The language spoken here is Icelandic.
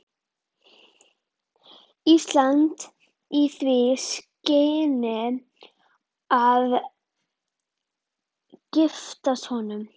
Íslands í því skyni að giftast honum.